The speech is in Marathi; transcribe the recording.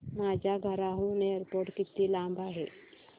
माझ्या घराहून एअरपोर्ट किती लांब आहे